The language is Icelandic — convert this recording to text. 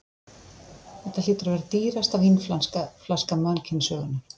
Þetta hlýtur að vera dýrasta vínflaska mannkynssögunnar.